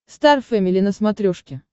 стар фэмили на смотрешке